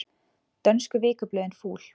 Dönsku vikublöðin fúl